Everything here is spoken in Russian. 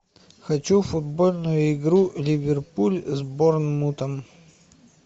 хочу футбольную игру ливерпуль с борнмутом